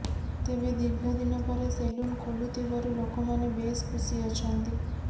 ତେବେ ଦୀର୍ଘ ଦିନ ପରେ ସେଲୁନ ଖୋଲୁଥିବାରୁ ଲୋକମାନେ ବେଶ୍ ଖୁସି ଅଛନ୍ତି